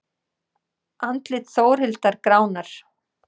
Andlit Þórhildar gránar.